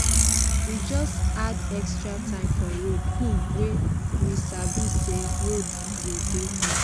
we just add extra time for road um we sabi say roads go dey busy.